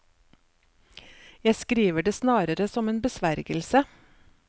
Jeg skriver det snarere som en besvergelse.